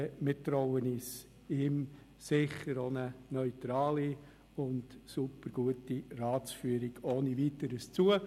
Wir trauen ihm eine neutrale und supergute Ratsführung ohne Weiteres zu.